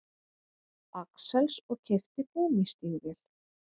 Axels og keypti gúmmístígvél.